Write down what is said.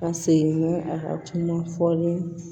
Ka segin ni a ka kuma fɔlen